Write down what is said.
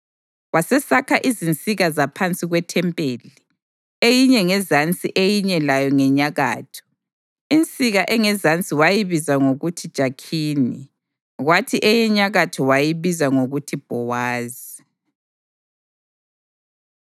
Wasesakha izinsika zaphansi kwethempeli, eyinye ngezansi eyinye layo ngenyakatho. Insika engezansi wayibiza ngokuthi Jakhini kwathi eyenyakatho wayibiza ngokuthi Bhowazi.